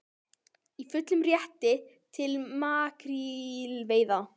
Í fullum rétti til makrílveiða